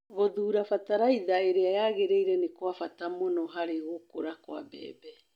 Gũthuura bataraitha ĩrĩa yagĩrĩire nĩ kwa bata mũno harĩ gũkũra kwa mbembe.